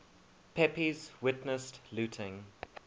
pepys witnessed looting